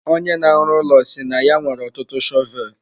Onye na-arụ ụlọ si na ya nwere ọtụtụ shọvel.